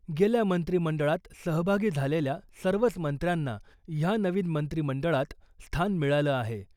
गेल्या मंत्रिमंडळात सहभागी झालेल्या सर्वच मंत्र्यांना ह्या नवीन मंत्रिमंडळात स्थान मिळालं आहे .